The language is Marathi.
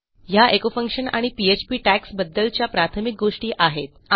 ह्या एचो फंक्शन आणि पीएचपी टॅग्स बद्दलच्या प्राथमिक गोष्टी आहेत